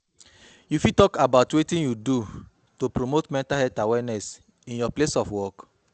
You fit talk about wetin you do to promote mental health awareness in your place of work.